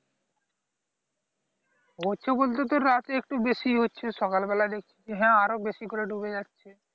হচ্ছে বলতে তো রাত্রেই একটু বেশি হচ্ছে সকাল বেলাতে দেখছি যে আরো বেশি করে ডুবে যাচ্ছে